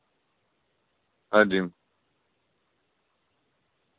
адин